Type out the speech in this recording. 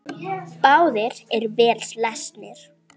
Báðir eru vel lesnir.